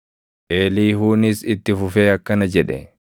Eliihuunis itti fufee akkana jedhe: